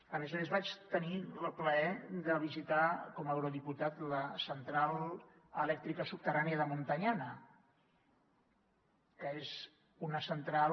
a més a més vaig tenir el plaer de visitar com a eurodiputat la central elèctrica subterrània de muntanyana que és una central